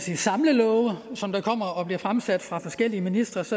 her samlelove som bliver fremsat fra forskellige ministres